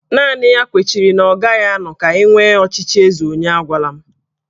Naanị ya kwechiri na ọ gaghị anọ ka enwee ọchịchị eze onye agwala m